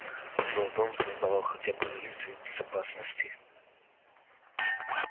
но дом создавал хотя бы иллюзию безопасности